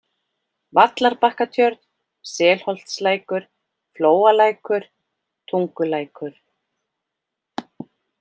Vallarbakkatjörn, Selholtslækur, Flóalækur, Tungulækur